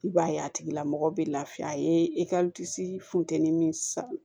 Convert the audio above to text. I b'a ye a tigilamɔgɔ be lafiya a ye funteni min san